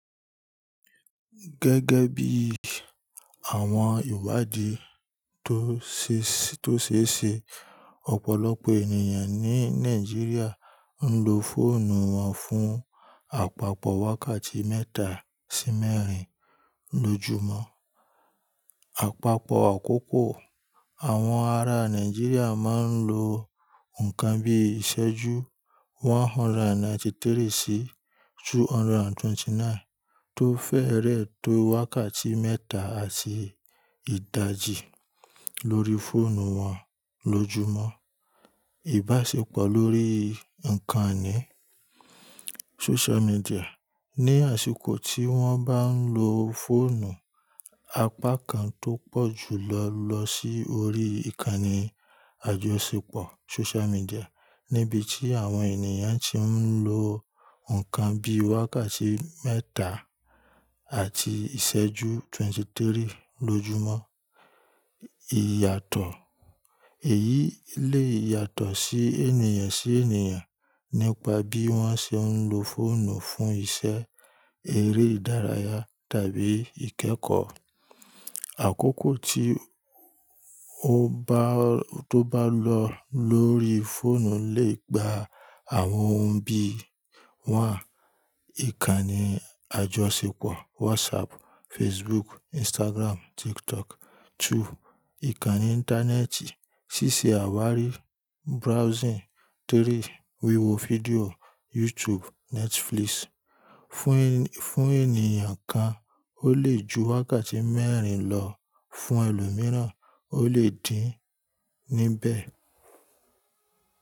Gẹ́gẹ́ bí àwọn ìwádìí tó ṣe, tó ṣeése, ọ̀pọ̀lọpọ̀ ènìyàn ní Nigeria ń lo fóònù wọn fún àpapọ̀ wákàtí mẹ́ta sí mẹ́rin lójúmọ́. Àpapọ̀ àkókò àwọn ará Nigeria máa ń lo nǹkan bí ìṣẹ́jú 193 sí 229 tó fẹ́rẹ̀ tó wákàtí mẹ́ta àti ìdajì lórí fóònù wọn lójúmọ́. Ìbáṣepọ̀ lórí nǹkan-ìní social media, ní àsìkò tí wọ́n bá ń lo fóònù, apá kan tó pọ̀ jùlọ lọ sí orí ìkànnì àjọṣepọ̀ social media níbi tí àwọn ènìyàn tí ń lo nǹkan bí wákàtí mẹ́ta àti ìṣẹ́jú 23 lójúmọ́. Ìyàtọ̀: èyí le yàtọ̀ sí ènìyàn sí ènìyàn nípa bí wọ́n ṣe ń lo fóònù fún iṣẹ́, eré ìdárayá tàbí ìkẹ́kọ̀ọ́. Àkókò tí ó bá, tó bá lọ lórí fóònù lè gba àwọn ohun bí: 1. Ìkànnì àjọṣepọ̀ WhatsApp, Facebook. Instagram, tik tok 2. Ìkànnì Íńtánẹ́ẹ̀tì III, wíwo fídíò. Fún ènìyàn kan, ó lè ju wákàtí mẹ́rin lọ, fún ẹlòmíràn ó lè dín níbẹ̀.